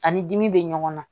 Ani dimi bɛ ɲɔgɔn na